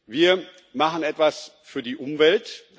Wir machen etwas für die Umwelt